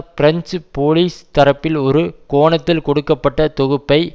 French police தரப்பில் ஒரு கோணத்தில் கொடுக்க பட்ட தொகுப்பை